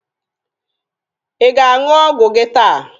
Ị ga-aṅụ ọgwụ gị taa?